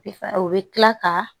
o bɛ kila ka